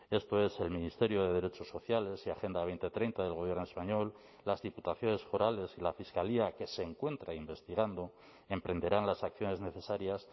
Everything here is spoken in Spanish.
esto es el ministerio de derechos sociales y agenda dos mil treinta del gobierno español las diputaciones forales y la fiscalía que se encuentra investigando emprenderán las acciones necesarias